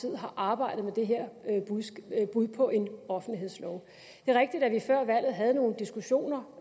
tid har arbejdet med det her bud på en offentlighedslov det er rigtigt at vi før valget havde nogle diskussioner